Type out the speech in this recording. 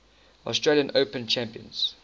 australian open champions